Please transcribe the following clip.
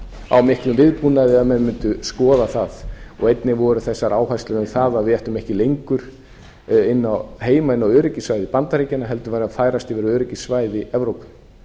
á miklum viðbúnaði að menn mundu skoða það einnig voru þessar áherslur um það að við ættum ekki lengur heima inni á öryggissvæði bandaríkjanna heldur værum að færast yfir á öryggissvæði evrópu